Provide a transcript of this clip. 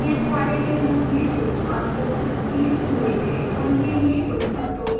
नियतकार्य के रूप में जो छात्र उत्तीर्ण हुए हैं उनके लिए कुछ भत्तों की गणना करें